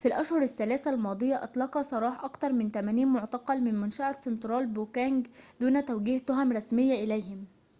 في الأشهر الثلاثة الماضية أطلق سراح أكثر من 80 معتقلاً من منشأة سنترال بوكنج دون توجيه تهم رسمية إليهم